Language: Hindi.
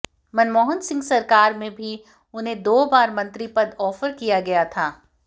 मनमोहन सिंह सरकार में भी उन्हें दो बार मंत्री पद ऑफर किया गया था